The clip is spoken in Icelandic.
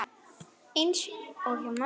Eins og hjá mömmu.